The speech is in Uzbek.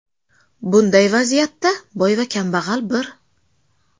Bunday vaziyatda boy va kambag‘al bir.